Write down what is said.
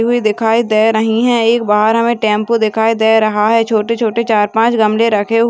दिखाई दे रही है। एक बाहर हमे टेम्पो दिखाई दे रहा है। छोटे-छोटे चार पाच गमले रखे हुए--